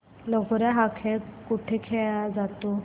लगोर्या हा खेळ कुठे खेळला जातो